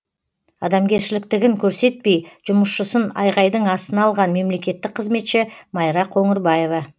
адамгершіліктігін көрсетпей жұмысшысын айғайдың астына алған мемлекеттік қызметші майра қоңырбаева